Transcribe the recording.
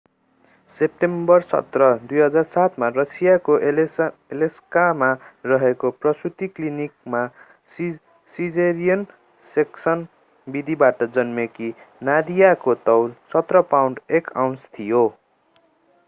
September 17 2007 मा रसियाको एलेस्कमा रहेको प्रसूति क्लिनिकमा सिजेरियन सेक्सन विधिबाट जन्मेकी नादियाको तौल 17 पाउण्ड 1 आउन्स थियो